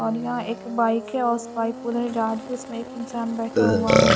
और यह एक बाइक है हाउस वाइफ उसमे एक इंसान बैठा हुआ है।